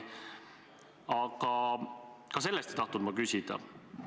Aga ka selle kohta ei taha ma küsida.